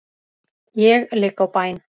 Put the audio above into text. Ég ligg á bæn.